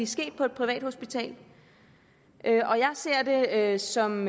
sket på et privathospital det ser jeg som